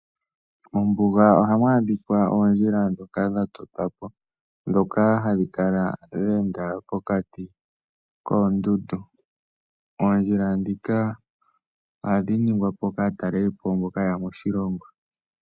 Mombuga ohamu adhikwa oondjila dhoka dhatotwa po dhoka hadhi kala dha enda pokati koondundu. Oondjila dhika ohadhi ningwa po kaataleli po mboka yeya moshilongo.